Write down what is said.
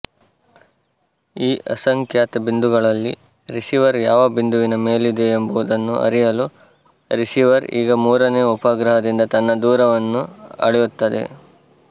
ಈ ಅಸಂಖ್ಯಾತ ಬಿಂದುಗಳಲ್ಲಿ ರಿಸೀವರ್ ಯಾವ ಬಿಂದುವಿನ ಮೇಲಿದೆಯೆಂಬುದನ್ನು ಅರಿಯಲು ರಿಸೀವರ್ ಈಗ ಮೂರನೆಯ ಉಪಗ್ರಹದಿಂದ ತನ್ನ ದೂರವನ್ನು ಅಳೆಯುತ್ತದೆ